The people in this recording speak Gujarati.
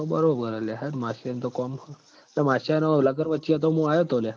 તો બરોબર હ લ્યા હેં ન માશયાં ન તો કોમ માશયાંનાં લગન વચ્ચે અતા મું આયો તો લ્યા